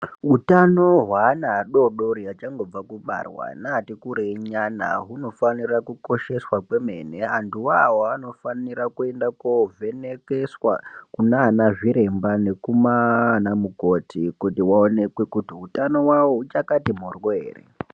Utano hwaana adodori achangobva kubarwa neati kurwi nyana hunofanira kukosheswa kwemene antu wawa anofanire kuende kovhenekeswa kunana zviremba nekumaa ana mumati kuti vaoneke kuti utano wawo huchakati moryo ere.